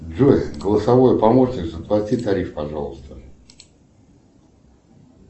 джой голосовой помощник заплати тариф пожалуйста